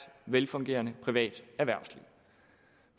velfungerende privat erhvervsliv